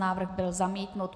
Návrh byl zamítnut.